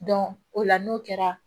o la n'o kɛra